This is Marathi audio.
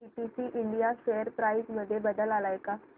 पीटीसी इंडिया शेअर प्राइस मध्ये बदल आलाय का